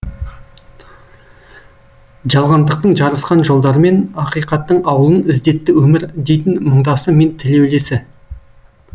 жалғандықтың жарысқан жолдарымен ақиқаттың ауылын іздетті өмір дейтін мұңдасы мен тілеулесі